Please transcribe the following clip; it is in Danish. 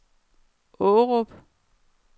Aarup